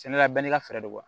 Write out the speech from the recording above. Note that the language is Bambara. Sɛnɛla bɛɛ n'i ka fɛɛrɛ don